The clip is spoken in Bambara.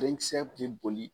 Denkisɛ tɛ boli